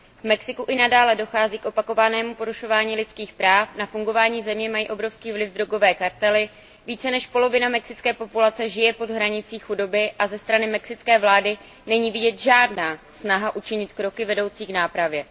V Mexiku i nadále dochází k opakovanému porušování lidských práv, na fungování země mají obrovský vliv drogové kartely, více než polovina mexické populace žije pod hranicí chudoby a ze strany mexické vlády není vidět žádná snaha učinit kroky vedoucí k nápravě.